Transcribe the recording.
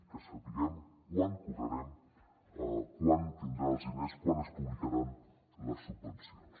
que sapiguem quan cobrarem quan tindran els diners quan es publicaran les subvencions